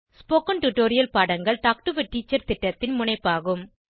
spoken tutorial பாடங்கள் talk to a teacher திட்டத்தின் முனைப்பாகும்